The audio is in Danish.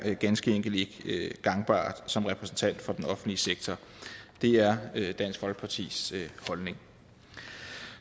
ganske enkelt ikke gangbart som repræsentant for den offentlige sektor det er dansk folkepartis holdning